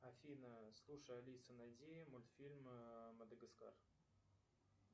афина слушай алиса найди мультфильм мадагаскар